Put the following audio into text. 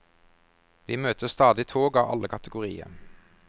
Vi møter stadig tog av alle kategorier.